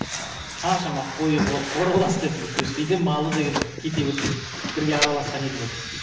ыыы қаншама қой қоралас деп то есть кейде малы деген кете берсең бірге араласқан ел болдық